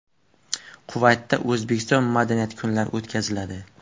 Kuvaytda O‘zbekiston madaniyati kunlari o‘tkaziladi.